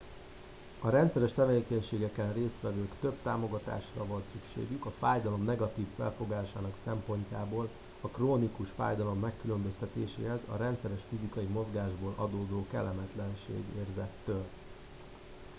a rendszeres tevékenységeken résztvevőknek több támogatásra volt szükségük a fájdalom negatív felfogásának szempontjából a krónikus fájdalom megkülönböztetéséhez a rendes fizikai mozgásból adódó kellemetlenségérzettől